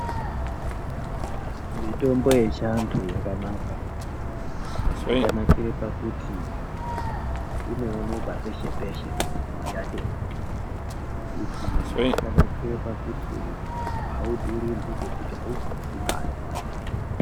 Mitombo yechiantu yakanaka yakanakire pakuti inooneka peshe peshe mizhinji yachona izvi zvakanakire kuti audhurirwi abvisi mare .